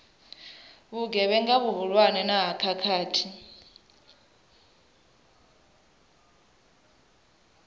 vhugevhenga vhuhulwane na ha khakhathi